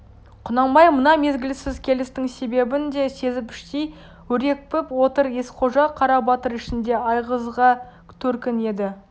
құнанбай мына мезгілсіз келістің себебін де сезіп іштей өрекпіп отыр есқожа қарабатыр ішінде айғызға төркін еді